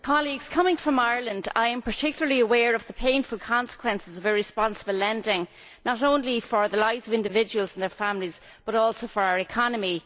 Mr President, coming from Ireland I am particularly aware of the painful consequences of irresponsible lending, not only for the lives of individuals and their families but also for our economy.